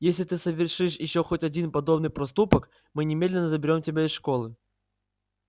если ты совершишь ещё хоть один подобный проступок мы немедленно заберём тебя из школы